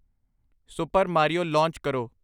super Mario launch ਕਰੋ